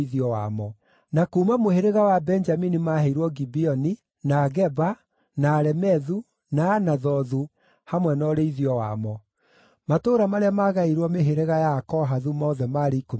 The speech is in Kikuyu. Na kuuma mũhĩrĩga wa Benjamini maaheirwo Gibeoni, na Geba, na Alemethu, na Anathothu, hamwe na ũrĩithio wamo. Matũũra marĩa maagaĩirwo mĩhĩrĩga ya Akohathu mothe maarĩ ikũmi na matatũ.